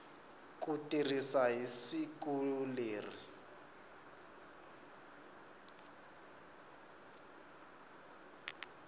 ku tirha hi siku leri